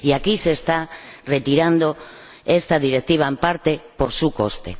Y aquí se está retirando esta Directiva en parte por su coste.